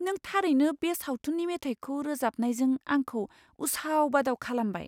नों थारैनो बे सावथुननि मेथाइखौ रोजाबनायजों आंखौ उसाव बादाव खालामबाय!